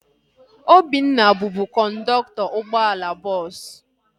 Obinna bubu kọndọktọ ụgbọala bọọsu